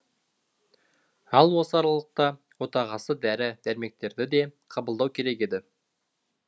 ал осы аралықта отағасы дәрі дәрмектерді де қабылдау керек еді